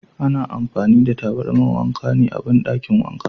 Ana amfani da tabarmar wanka ne a bandakin wanka.